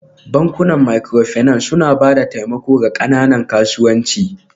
Bankunan Microfinance suna ba da taimako ga ƙananan kasuwancin